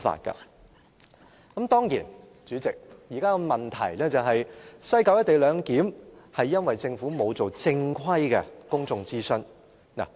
當然，代理主席，現在的問題是，西九"一地兩檢"是因為政府沒有進行正規的公眾諮詢。